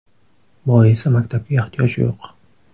Boisi maktabga ehtiyoj yo‘q.